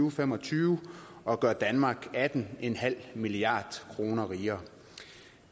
og fem og tyve og gøre danmark atten milliard kroner rigere